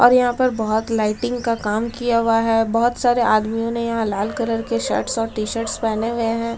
और यहां पर बहुत लाइटिंग का काम किया हुआ है बहुत सारे आदमियों ने यहां लाल कलर के शर्ट्स और टी-शर्ट्स पहने हुए हैं।